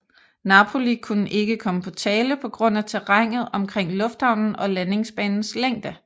Napoli kunne ikke komme på tale på grund af terrænet omkring lufthavnen og landingsbanens længde